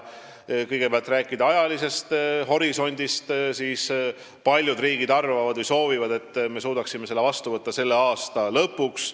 Kõigepealt, kui rääkida ajalisest horisondist, siis paljud riigid arvavad või soovivad, et me suudaksime selle otsuse vastu võtta selle aasta lõpuks.